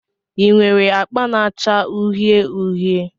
Ị nwere akpa na-acha uhie uhie?